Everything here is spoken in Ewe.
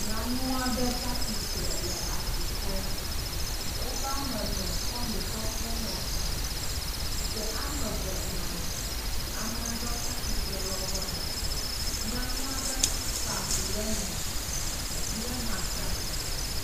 Nyɔnu aɖe tsi atsitre le asi klɔm. Woƒe ame ene kɔ nu kɔ tsɔ ŋɔtsi ɖe ame eve nɔ anyi. Ame aɖewo tsi atsitre ɖe womegbe. Nyanua aɖe kpa vi ɖe me. Yehã tsi atsitre.